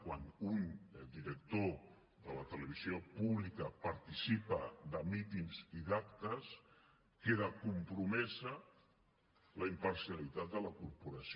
quan un director de la televisió pública participa en mítings i en actes queda compromesa la imparcialitat de la corporació